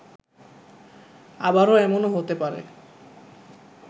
আবার এমনও হতে পারে